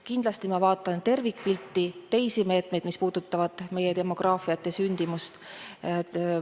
Kindlasti ma vaatan tervikpilti, teisigi meetmeid, mis puudutavad meie demograafiat ja sündimust.